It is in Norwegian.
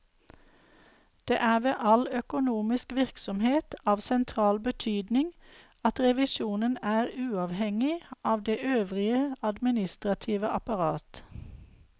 Det er ved all økonomisk virksomhet av sentral betydning at revisjonen er uavhengig av det øvrige administrative apparat.